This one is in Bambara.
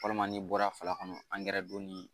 Walima n'i bɔra fa kɔnɔ don ni